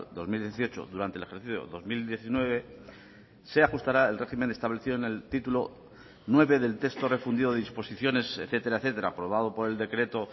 dos mil dieciocho durante el ejercicio dos mil diecinueve se ajustará el régimen establecido en el título nueve del texto refundido de disposiciones etcétera etcétera aprobado por el decreto